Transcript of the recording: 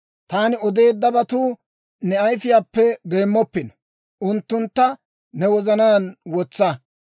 Taani odeeddabatu ne ayifiyaappe geemmoppino; unttuntta ne wozanaan wotsa.